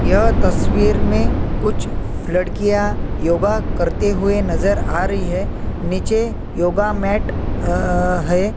यह तस्वीर मे कुछ लड़कियां योगा करते हुई नज़र आ रही हैं नीचे योगा मैट अ हैं।